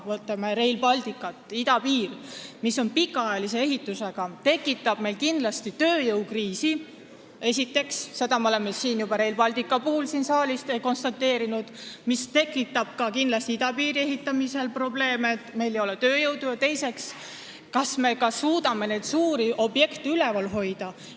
Võtame Rail Balticu, mis on pikaajalise ehitusega ja tekitab meil esiteks tööjõukriisi – seda me oleme siin saalis juba konstateerinud, et ka idapiiri ehitamisel tekib kindlasti probleem, et meil ei ole tööjõudu – ning teiseks, kas me suudame üldse selliseid suuri objekte üleval hoida.